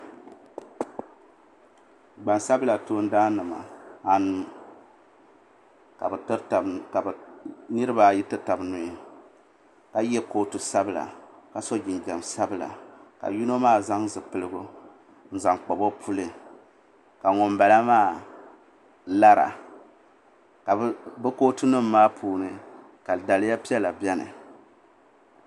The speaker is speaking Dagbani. Gbansabla toondaan nima anu ka bɛ tiri taba nuu niriba ayi ti taba nuu ka ye kootu sabla ka so jinjiɛm sabla ka yino maa zaŋ zipilgu n zaŋ kpabi o puli ka ŋunbala maa lara ka bɛ kootu nima puuni ka daliya piɛla biɛni.